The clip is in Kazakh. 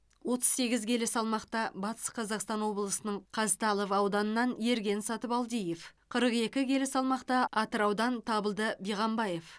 отыз сегіз келі салмақта батыс қазақстан облысының қазталов ауданынан ерген сатыбалдиев қырық екі келі салмақта атыраудан табылды биғамбаев